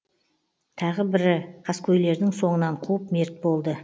тағы бірі қаскөйлердің соңынан қуып мерт болды